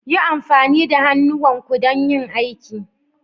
Yi amfani da hannuwanku don yin aiki.